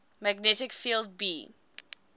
magnetic field b